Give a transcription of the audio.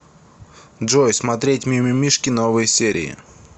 джой смотреть мимимишки новые серии